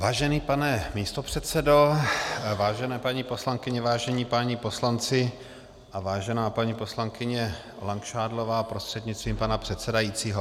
Vážený pane místopředsedo, vážené paní poslankyně, vážení páni poslanci a vážená paní poslankyně Langšádlová prostřednictvím pana předsedajícího.